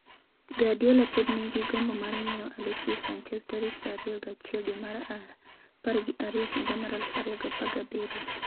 Guardiola pod nigi gombo mar ng’iewo Alexis Sanchez tarik 21 dwe mar apar gi ariyo higa mar 2017